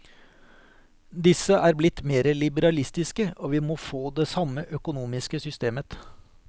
Disse er blitt mere liberalistiske, og vi må få det samme økonomiske systemet.